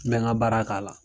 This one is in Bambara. N mɛ n ga baara k'a la